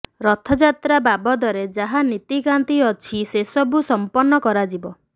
ରଥଯାତ୍ରା ବାବଦରେ ଯାହା ନୀତିକାନ୍ତି ଅଛି ସେସବୁ ସମ୍ପନ୍ନ କରାଯିବ